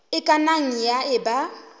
e ka nnang ya eba